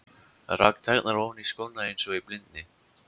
Rak tærnar ofan í skóna eins og í blindni.